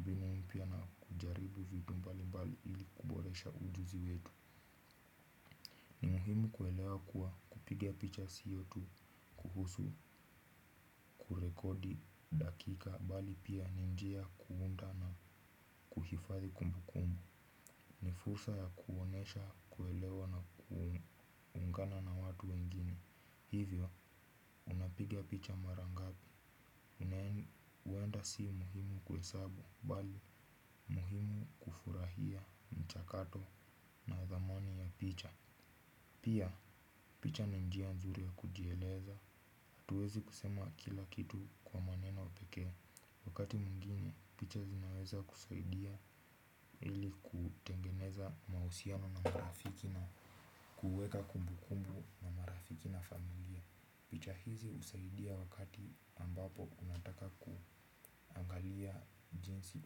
mbinu mpya na kujaribu vitu mbali mbali ili kuboresha ujuzi wetu. Muhimu kuelewa kuwa kupiga picha sio tu kuhusu rekodi dakika bali pia ni njia ya kuunda na kifadhi kumbu kumbu. Ni fursa ya kuonesha kuelewa na kuungana na watu wengine. Hivyo, unapiga picha mara ngapi huenda sio muhimu kuhesabu bali muhimu kufurahia mchakato na thamani ya picha. Pia picha ni njia nzuri ya kujieleza hatuwezi kusema kila kitu kwa maneno pekee. Wakati mwingine, picha zinaweza kusaidia ili kutengeneza mahusiano na marafiki na kuweka kumbu kumbu na marafiki na familia. Picha hizi husaidia wakati ambapo unataka kuangalia jinsi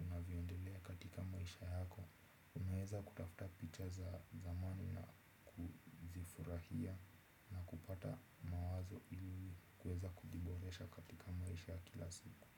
unavyoendelea katika yako. Unaweza kutafuta picha za zamani na kuzifurahia kupata mawazo ili kuweza kujiboresha katika maisha ya kila siku.